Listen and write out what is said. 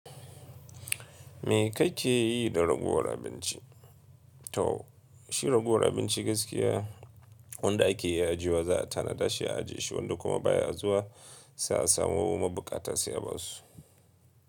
Me kake yi da ragowar abinci? To shi ragowar abinci gaskiya wanda ake yi aji wa za ta na dashe aji shi wanda kuma baya zuwa sai a samu mabukata sai a basu.